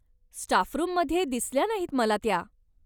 Staff रूममध्ये दिसल्या नाही मला त्या.